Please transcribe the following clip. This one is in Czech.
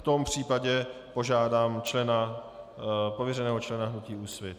V tom případě požádám člena, pověřeného člena hnutí Úsvit.